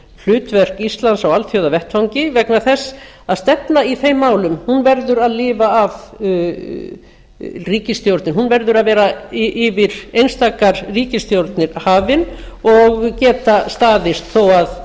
hlutverk íslands á alþjóðavettvangi vegna þess að stefna í þeim málum verður að lifa af ríkisstjórnin verður að vera yfir einstakar ríkisstjórnir hafin og geta staðist þó að